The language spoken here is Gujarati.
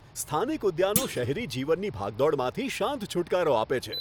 સ્થાનિક ઉદ્યાનો શહેરી જીવનની ભાગદોડમાંથી શાંત છૂટકારો આપે છે.